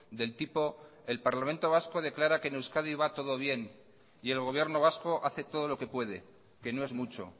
del tipo el parlamento vasco declara que en euskadi va todo bien y el gobierno vasco hace todo lo que puede que no es mucho